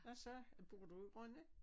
Hvad så bor du i Rønne?